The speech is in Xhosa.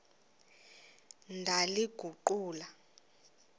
ndaliguqula